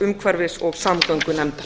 umhverfis og samgöngunefndar